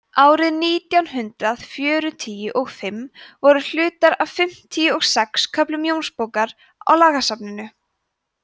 árið nítján hundrað fjörutíu og fimm voru hlutar af fimmtíu og sex köflum jónsbókar í lagasafninu